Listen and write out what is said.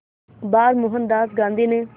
बार मोहनदास गांधी ने